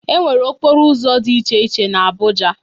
e nwere okporo ụzọ dị iche iche n'Abuja